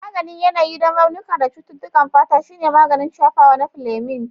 Maganin yanayi don raunuka da cututtukan fata shine maganin shafawa na Fleming.